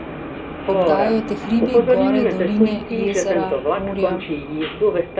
Obdajajo te hribi, gore, doline, jezera, morja ...